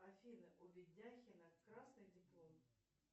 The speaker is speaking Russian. афина у ведяхина красный диплом